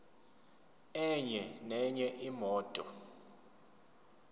enye nenye imoto